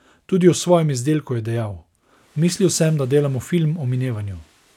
Tudi o svojem izdelku je dejal: "Mislil sem, da delamo film o minevanju.